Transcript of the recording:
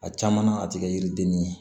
A caman na a tɛ kɛ yiriden ni ye